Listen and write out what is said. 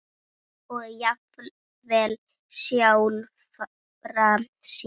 og jafnvel sjálfra sín.